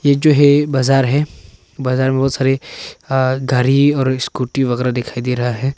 ये जो है बाजार हैं बाजार में बहुत सारी गाड़ी और स्कूटी वगैरा दिखाई दे रहा है।